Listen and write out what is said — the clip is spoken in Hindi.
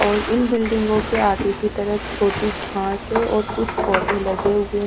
और इन बिल्डिंगों के आगे की तरफ छोटी घास है और कुछ पौधे लगे हुए।